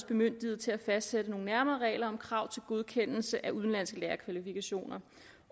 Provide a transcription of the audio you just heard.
bemyndiget til at fastsætte nogle nærmere regler om krav til godkendelse af udenlandske lærerkvalifikationer